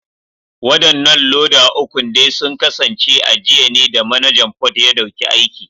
Wadannan loda ukun dai sun kasance a jiya ne da Manajan Port ya dauki aiki